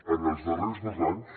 en els darrers dos anys